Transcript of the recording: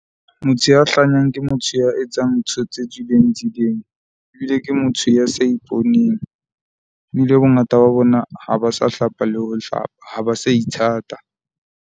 Motho ya hlanyang ke motho ya etsang ntho tse tswileng tseleng, ebile ke motho ya sa iponeng. Ebile bongata ba bona ha ba sa hlapa le ho hlapa, ha ba sa ithata.